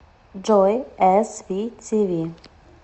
джой эс ви ти ви